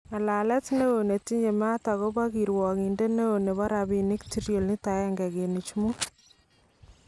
Ng'alalet neon netinye maat akobo kirwakindet neon nebo rabiniik trilionit agenge kenuch muut